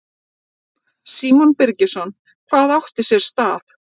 Símon Birgisson: Hvað átti sér stað?